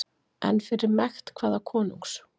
En fyrir mekt hvaða konungs?